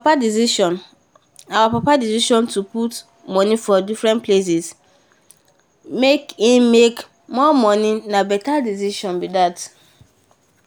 our papa decision to put money for different places make to make more money na na better decision